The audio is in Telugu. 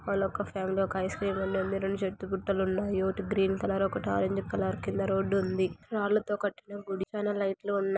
ఒక ఫ్యామిలీ ఒక ఐస్క్రీమ్ ఉండింది రెండు చెట్టు గుట్టలున్నాయి ఓటి గ్రీన్ కలర్ ఒకటి ఆరెంజ్ కలర్ కింద రోడ్డు ఉంది రాళ్లతో కట్టిన గుడి పైనా లైట్ లున్నాయి .